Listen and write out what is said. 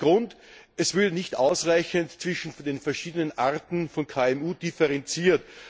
Der Grund Es wird nicht ausreichend zwischen den verschiedenen Arten von KMU differenziert.